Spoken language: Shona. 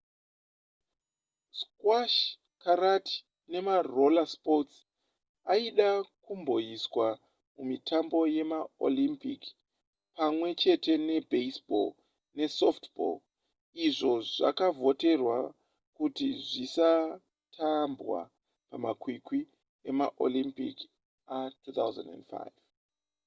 squash karate nemaroller sports aida kumboiswa mumitambo yemaolympic pamwe chete nebaseball nesoftball izvo zvakavhoterwa kuti zvisatambwa pamakwikwi emaolympic a2005